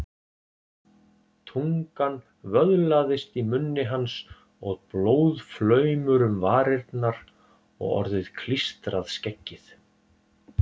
Tungan vöðlaðist í munni hans og blóðflaumur um varirnar og orðið klístrað skeggið.